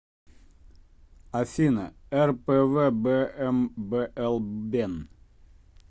афина рпвбмблбен